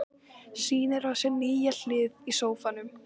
Sýnir á sér nýja hlið í sófanum.